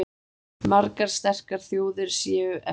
Margar sterkar þjóðir séu eftir.